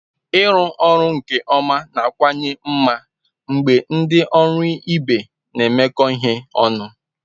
Ịrụ ọrụ nke ọma na-akawanye mma mgbe ndị ọrụ ibe na-emekọ ihe ọnụ.